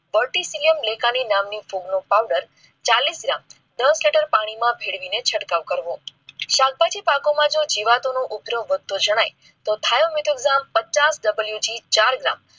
verti cellium લેખાની નામનો ફૂગ નો પાવડર ચાલીસ gram દસ લિટર પાણી માં ભેળ વીને છંટકાવ કરવો. શાકભાજી પાકો માં જીવાત નો ઉપદ્રવ જણાય તો પચાસ WG ચાર gram